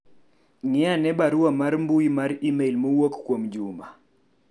ng'i ane barua mar mbui mar email mowuok kuom Juma